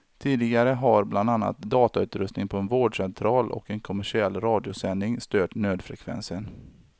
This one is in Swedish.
Tidigare har bland annat datautrustningen på en vårdcentral och en kommersiell radiosändning stört nödfrekvensen.